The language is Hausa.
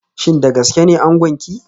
Shin da gaske ne angonki